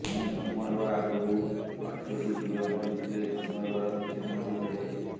ମୁଁ ଜନ୍ମ ହେବା ଆଗରୁ ପାଞ୍ଚଟି ଝିଅ ମରିଥିଲେ ଜନ୍ମ ହେବାର କିଛି ଦିନ ଭିତରେ